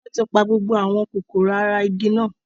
Wọn tí pa gbogbo àwọn kòkòrò ara igi náà